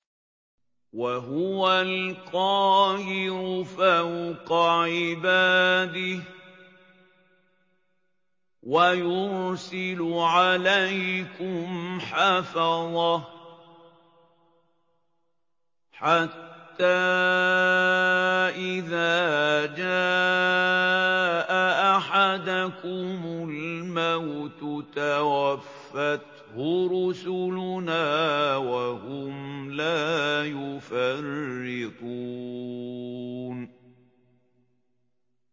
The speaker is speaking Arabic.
وَهُوَ الْقَاهِرُ فَوْقَ عِبَادِهِ ۖ وَيُرْسِلُ عَلَيْكُمْ حَفَظَةً حَتَّىٰ إِذَا جَاءَ أَحَدَكُمُ الْمَوْتُ تَوَفَّتْهُ رُسُلُنَا وَهُمْ لَا يُفَرِّطُونَ